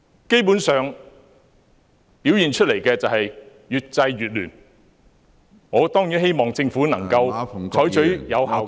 基本上，表現出來是越制越亂，我當然希望政府能夠採取有效的......